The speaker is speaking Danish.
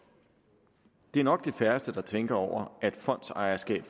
det er nok de færreste der tænker over at fondsejerskab